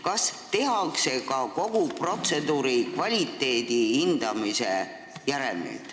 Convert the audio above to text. Kas tehakse järelmid kogu protseduuri kvaliteedi hindamisest?